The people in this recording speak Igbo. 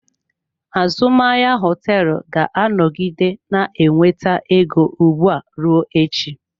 Azụmahịa hoteelu ga-anọgide na-enweta ego ugbu a ruo echi.